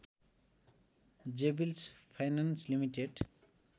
जेबिल्स finance limited